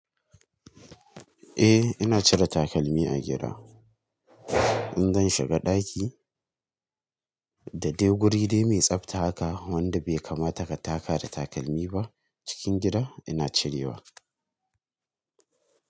Eh ina cire takalmi a gida. In zan shiga ɗaki da dai wuri dai mai tsafta haka wanda bai kamata ka taka da takalmi ba cikin gida ina cirewa.